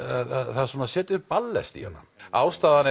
það setur ballest í hana ástæðan